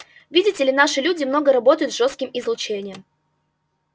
видите ли наши люди много работают с жёстким излучением